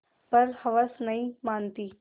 पर हवस नहीं मानती